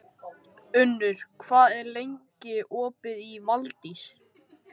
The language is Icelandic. Unnur, hvað er lengi opið í Valdís?